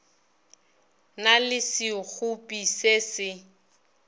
na le sekgopi se se